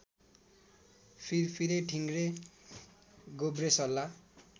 फिरफिरे ठिँग्रे गोब्रेसल्ला